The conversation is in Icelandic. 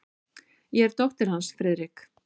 Ég er dóttir hans, Friðrik.